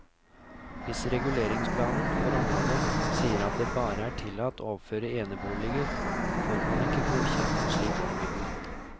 Hvis reguleringsplanen for området sier at det bare er tillatt å oppføre eneboliger, får man ikke godkjent en slik ombygging.